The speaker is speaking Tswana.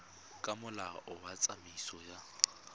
ka molao wa tsamaiso ya